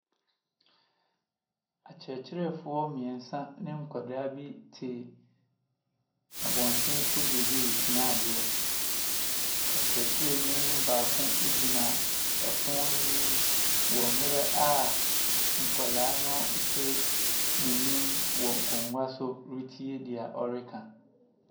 Akyerɛkyerɛfoɔ mmiɛnsa ne nkwadaa bi te abɔnten so beebi resua adeɛ. Ɔkyerɛkyerɛni baako gyina pono n’anim wɔ mmerɛ a nkwadaa no te n’anim wɔ nkonnwa so retie deɛ ɔreka.